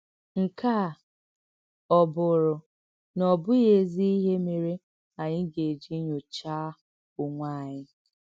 Nkè à ọ́ bùrù̀ nà ọ̀bụ́ghị ézì íhè mèrè ànyị gà-èjì nyòcháà onwè ànyị?